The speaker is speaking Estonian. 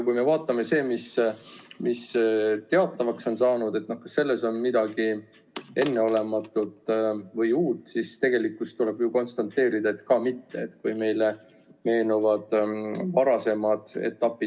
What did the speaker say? Kui me vaatame seda, mis on teatavaks saanud, et kas selles on midagi enneolematut või uut, siis tegelikult tuleb konstateerida, et ka mitte.